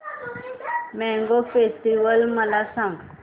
mango festival मला सांग